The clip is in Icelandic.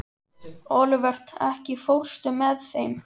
Olivert, ekki fórstu með þeim?